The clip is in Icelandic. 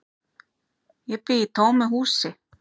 Ég bý í tómu húsi.